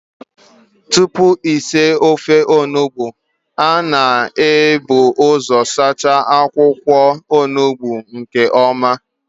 Tupu esi ofe Onugbu, a na-ebu ụzọ saa akwụkwọ Onugbu nke ọma